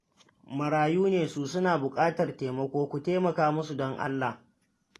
Marayu ne su, suna buƙatar taimako, ku taimaka musu don Allah